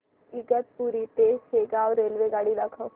इगतपुरी ते शेगाव रेल्वेगाडी दाखव